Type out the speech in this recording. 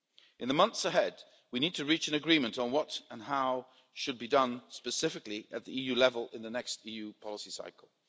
In the months ahead, we need to reach an agreement on what and how should be done specifically at the EU level in the next EU policy cycle.